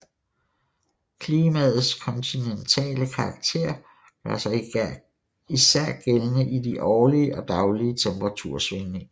Klimaets kontinentale karakter gør sig især gældende i de årlige og daglige temperatursvingninger